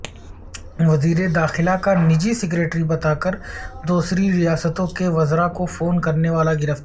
وزیرداخلہ کا نجی سکریٹری بتا کر دوسری ریاستوں کے وزرا کو فون کرنے والا گرفتار